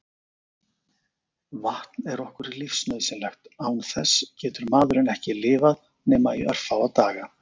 Vatn er okkur lífsnauðsynlegt, án þess getur maðurinn ekki lifað nema í örfáa daga.